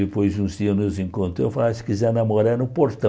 Depois de uns dias nos encontrou, ah se quiser namorar, é no portão.